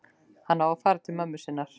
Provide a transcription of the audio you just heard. Hann á að fara til mömmu sinnar.